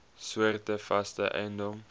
soorte vaste eiendom